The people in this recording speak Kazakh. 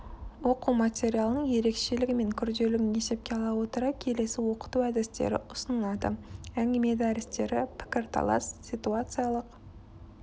оқу материалының ерекшелігі мен күрделілігін есепке ала отыра келесі оқыту әдістері ұсынылады әңгіме дәрістері пікірталастар ситуациялық